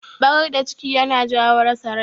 Barar da ciki yana jawo rasa rai.